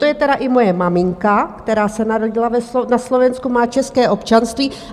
To je tedy i moje maminka, která se narodila na Slovensku, má české občanství.